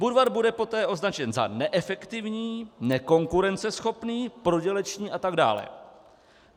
Budvar bude poté označen za neefektivní, nekonkurenceschopný, prodělečný atd.